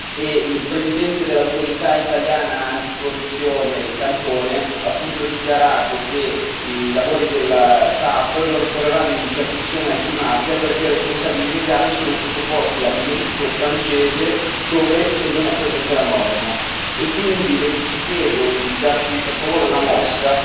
e il presidente dell'autorità italiana anticorruzione Cantone ha dichiarato che i lavori della TAV non ricorreranno in interdizione antimafia perché i responsabili legali sono sottoposti al diritto francese, dove non è presente la norma, e quindi vi chiedo di darci, per favore, una mossa